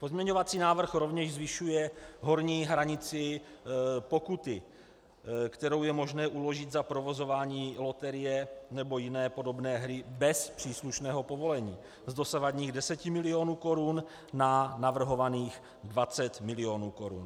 Pozměňovací návrh rovněž zvyšuje horní hranici pokuty, kterou je možné uložit za provozování loterie nebo jiné podobné hry bez příslušného povolení, z dosavadních 10 milionů korun na navrhovaných 20 milionů korun.